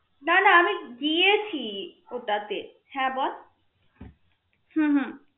না না আমি গিয়েছি ওটাতে হ্যা বল হম